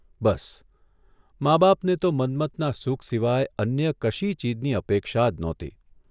બસ, મા બાપને તો મન્મથના સુખ સિવાય અન્ય કશી ચીજની અપેક્ષા જ નહોતી.